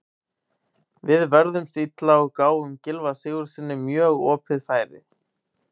Við vörðumst illa og gáfum Gylfa Sigurðssyni mjög opið færi.